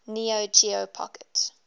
neo geo pocket